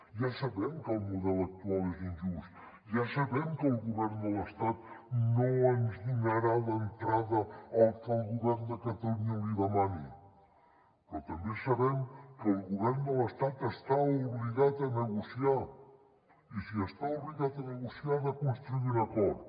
ja sabem que el model actual és injust ja sabem que el govern de l’estat no ens donarà d’entrada el que el govern de catalunya li demani però també sabem que el govern de l’estat està obligat a negociar i si està obligat a negociar ha de construir un acord